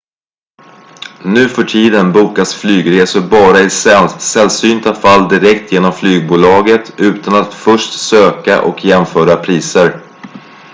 nuförtiden bokas flygresor bara i sällsynta fall direkt genom flygbolaget utan att först söka och jämföra priser